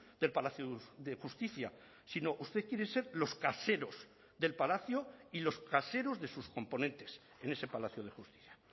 del palacio de justicia sino usted quiere ser los caseros del palacio y los caseros de sus componentes en ese palacio de justicia